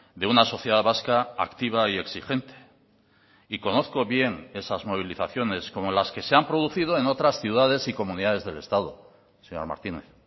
de una sociedad vasca activa y exigente y conozco bien esas movilizaciones como las que se han producido en otras ciudades y comunidades del estado señor martínez